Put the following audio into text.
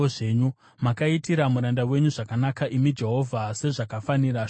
Makaitira muranda wenyu zvakanaka, imi Jehovha, sezvakafanira shoko renyu.